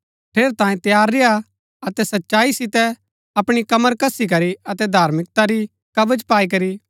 ठेरैतांये तैयार रेय्आ अतै सच्चाई सितै अपणी कमर कसी करी अतै धार्मिकता री कवच पाई करी